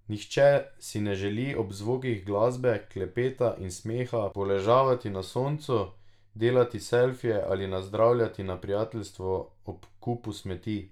Nihče si ne želi ob zvokih glasbe, klepeta in smeha poležavati na soncu, delati selfije ali nazdravljati na prijateljstvo ob kupu smeti.